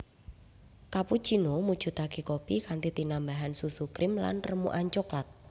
Cappuccino mujudake kopi kanthi tinambahan susu krim lan remukan cokelat